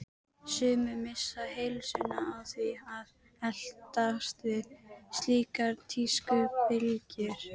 Sumir missa heilsuna á því að eltast við slíkar tískubylgjur.